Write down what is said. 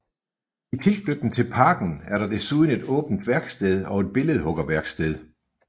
I tilknytning til parken er der desuden et åbent værksted og et billedhuggerværksted